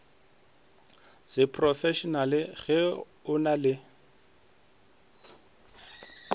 seprofešenale ge o na le